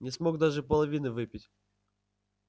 не смог даже половины выпить